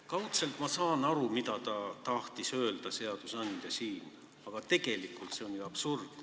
" Kaudselt ma saan aru, mida seadusandja siin öelda tahtis, aga tegelikult on see ju absurdne.